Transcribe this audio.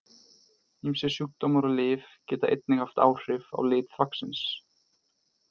Ýmsir sjúkdómar og lyf geta einnig haft áhrif á lit þvagsins.